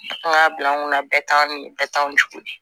An k'a bila an kunna bɛɛ t'an bɛɛ ta o cogo de la